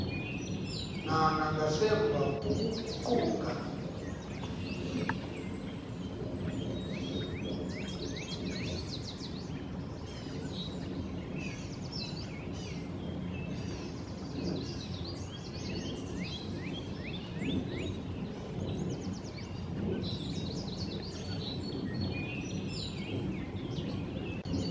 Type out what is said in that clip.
na nangasemva kokuguquka